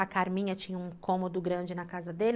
A Carminha tinha um cômodo grande na casa dele.